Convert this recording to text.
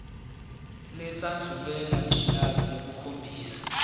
lesandulela ngculazi lukhombisa